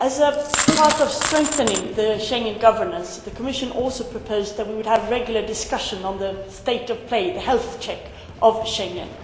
Mr President, as part of strengthening the Schengen governance, the Commission also proposed that we would have regular discussions on the state of play the health check of Schengen.